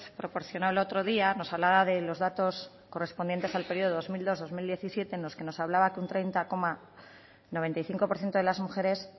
proporcionó el otro día nos hablaba de los datos correspondientes al periodo dos mil dos dos mil diecisiete en el que nos hablaba que un treinta coma noventa y cinco por ciento de las mujeres